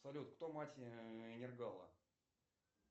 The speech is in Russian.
салют кто мать энергала